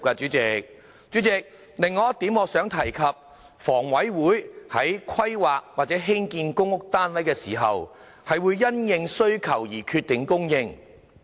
主席，我想提出的另一點是，香港房屋委員會在規劃或興建公屋單位時，是會因應需求決定供應。